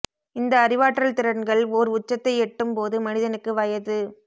இந்த அறிவாற்றல் திறன்கள் ஓர் உச்சத்தை எட்டும் போது மனிதனுக்கு வயது